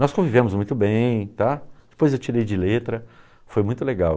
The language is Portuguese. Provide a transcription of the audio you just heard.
Nós convivemos muito bem tá, depois eu tirei de letra, foi muito legal.